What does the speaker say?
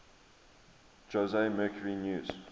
jose mercury news